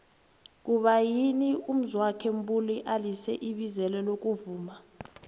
kuba yini umzwokhe mbuli alize ibizelo lokuvuma